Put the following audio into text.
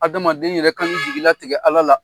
Adamaden yɛrɛ kan'i jigi latigɛ Ala la.